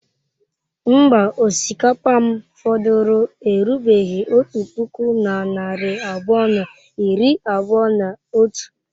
Mba, osikapa m fọdụrụ erubeghị otu puku na narị abụọ na iri abụọ na otu.